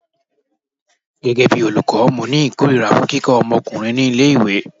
Gẹ́gẹ́ bí olùkọ́, mo ni ìkórìíra fún kíkọ́ omokunrin ní ilé ìwé.